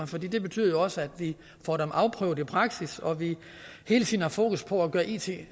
for det betyder jo også at vi får dem afprøvet i praksis og hele tiden har fokus på at gøre it